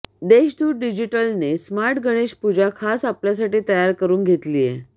देशदूत डिजिटलने ही स्मार्ट गणेश पूजा खास आपल्यासाठी तयार करून घेतलीये